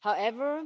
However,